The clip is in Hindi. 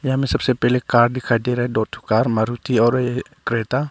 यहाँ में सबसे पहले कार दिखाई दे रहा है दो ठो कार मारुति और क्रेटा ।